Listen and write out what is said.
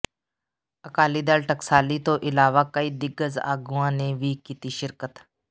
ਅਕਾਲੀ ਦਲ ਟਕਸਾਲੀ ਤੋਂ ਇਲਾਵਾ ਕਈ ਦਿਗਜ਼ ਆਗੂਆਂ ਨੇ ਵੀ ਕੀਤੀ ਸ਼ਿਰਕਤ